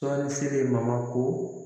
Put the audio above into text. Tɔnni feere ma ko